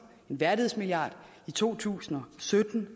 en værdighedsmilliard i to tusind og sytten